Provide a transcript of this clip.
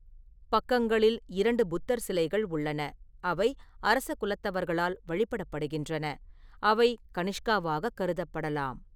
பக்கங்களில் இரண்டு புத்தர் சிலைகள் உள்ளன, அவை அரச குலத்தவர்களால் வழிபடப்படுகின்றன, அவை கனிஷ்காவாக கருதப்படலாம்.